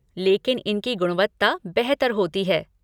लेकिन इनकी गुणवत्ता बेहतर होती है।